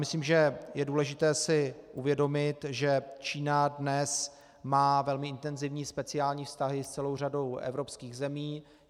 Myslím, že je důležité si uvědomit, že Čína dnes má velmi intenzivní speciální vztahy s celou řadou evropských zemí.